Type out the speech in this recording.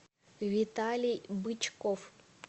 виталий бычков